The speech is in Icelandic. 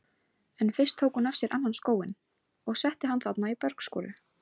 En fyrst tók hún af sér annan skóinn og setti hann þarna í bergskoru.